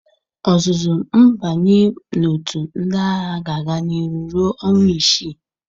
Ọzụzụ mbanye na-otu ndị agha ga-aga niru ruọ ọnwa isi.